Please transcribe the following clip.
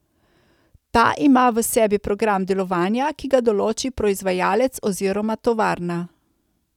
Ta ima v sebi program delovanja, ki ga določi proizvajalec oziroma tovarna.